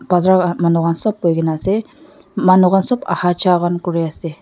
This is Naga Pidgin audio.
bazar ka manu khan sop boikae na ase manu khan sop ahha jaha han kuriase.